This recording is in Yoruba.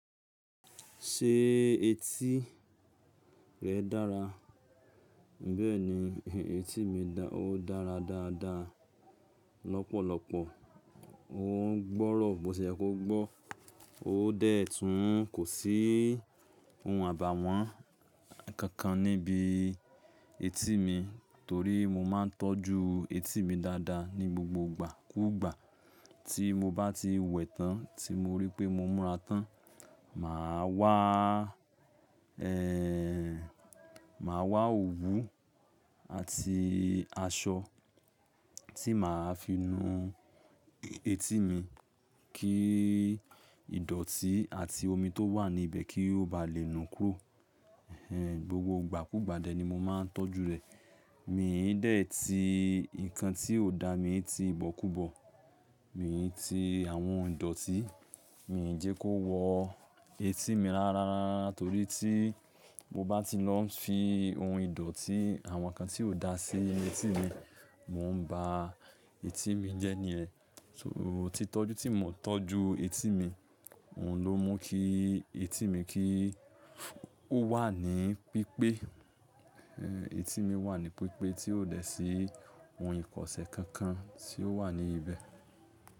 Ṣé etí rẹ dára? Bẹ́ẹ̀ni, etí mi dá- o dara dáadáa lọ́pọ̀lọpọ̀. Ó ń gbọ́rọ̀ bó se yẹ kó gbọ́. Ó dẹ̀ tun, kò sí ohun àbàwọ́n kankan níbi etí mi torí mo máa ń tọ́jú etí mi dáadáa ní gbogbo ìgbà kùgbà tí mo bá ti wẹ̀ tán tí mo rí pé mo múra tán, màá wá, ẹ́hn, màá wá òwú àti aṣọ tí màá fi nu etí mi kí ìdọ̀tí àti omi tó wà ní ibẹ̀ kí ó ba lè nu kúrò. Ẹ̀hẹn, gbogbo ìgbà kùgbà dẹ̀ ni mo máa ń tọ́jú rẹ̀. Mi ò dé ti nǹkan tí ò da, mi i ti ìbọ̀kúbọ̀, mi i ti àwọn ìdọ̀tí, mi i jẹ́ kó wọ etí mi rara rara rárá torí tí mo bá ti lọ fi ohun ìdọ̀tí àwọn kan tí ò da sí inu etí mi, mo ń ba etí mi jẹ́ níyen, So, títọ́jú tí mo ń tọ́jú etí mi, òun ló mú kí etí mi kí ó wà ní pípé. Ẹ̀hẹn, etí mi wà ní pípé tí ò dé sí ohun ìkọ̀ṣẹ́ kankan tí ó wà ní ibẹ̀.